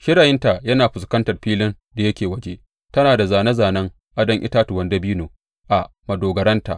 Shirayinta yana fuskantar filin da yake waje; tana da zāne zānen adon itatuwan dabino a madogararta.